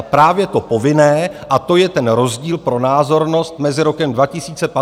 A právě to povinné, a to je ten rozdíl pro názornost mezi rokem 2015 a nyní, tam chybí.